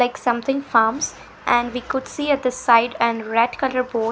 like something farms and we could see at the side and red colour board.